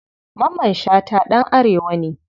Mamman shata ɗan arewa ne.